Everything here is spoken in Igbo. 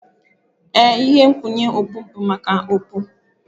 Ee, ihe nkwụnye okpu bụ maka okpu.